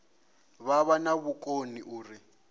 vha vha na vhukoni uri